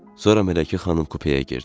Sonra Mələkə xanım kupəyə girdi.